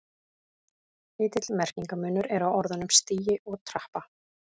Lítill merkingarmunur er á orðunum stigi og trappa.